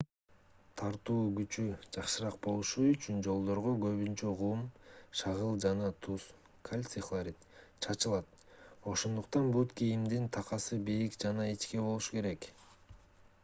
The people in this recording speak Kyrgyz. тартуу күчү жакшыраак болушу үчүн жолдорго көбүнчө кум шагыл жана туз кальций хлорид чачылат. ошондуктан бут кийимдин такасы бийик жана ичке болбошу керек